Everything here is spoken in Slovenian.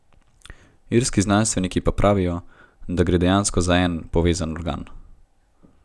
Irski znanstveniki pa pravijo, da gre dejansko za en, povezan organ.